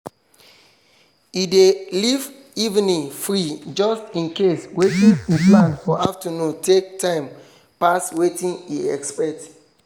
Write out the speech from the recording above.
e dey leave evening free just in case watin e plan for afternoon take time pass watin e expect